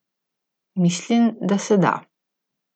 Mislim, da se da.